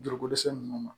Juruko dɛsɛ ninnu ma